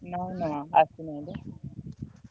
ନାଇଁ ନାଇଁ ଆସିନାହିଁ ତ